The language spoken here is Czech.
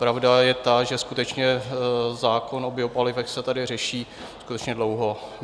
Pravda je ta, že skutečně zákon o biopalivech se tady řeší skutečně dlouho.